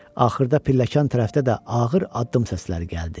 Axırda pilləkan tərəfdə də ağır addım səsləri gəldi.